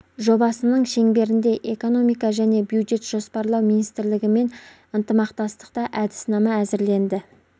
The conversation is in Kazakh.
жобасының шеңберінде экономика және бюджет жоспарлау миинстрлігімен ынтымақтастықта әдіснама әзірленді